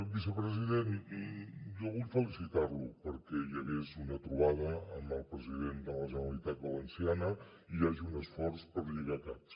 vicepresident jo vull felicitar lo perquè hi hagués una trobada amb el president de la generalitat valenciana i hi hagi un esforç per lligar caps